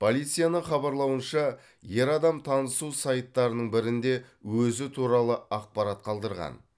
полицияның хабарлауынша ер адам танысу сайттарының бірінде өзі туралы ақпарат қалдырған